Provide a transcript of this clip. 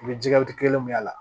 U bɛ ji waati kelen min k'a la